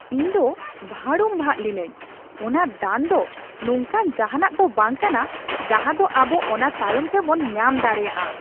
ᱤᱧ ᱫᱚ ᱵᱷᱟᱲᱩᱢᱵᱷᱟᱜ ᱞᱤᱱᱟᱹᱧ ! ᱚᱱᱟ ᱫᱟᱱ ᱫᱚ ᱱᱚᱝᱠᱟᱱ ᱡᱟᱦᱟᱱᱟᱜ ᱫᱚ ᱵᱟᱝ ᱠᱟᱱᱟ ᱡᱟᱦᱟ ᱫᱚ ᱟᱵᱚ ᱚᱱᱟ ᱛᱟᱭᱚᱢ ᱛᱮᱵᱚᱱ ᱧᱟᱢ ᱫᱟᱲᱮᱭᱟᱜᱼᱟ ᱾